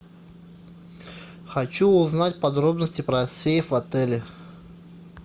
хочу узнать подробности про сейф в отеле